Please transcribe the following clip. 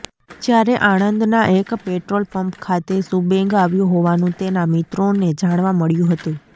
જ્યાં આણંદના એક પેટ્રોલપમ્પ ખાતે સુબેંગ આવ્યો હોવાનુ તેના મિત્રોને જાણવા મળ્યું હતું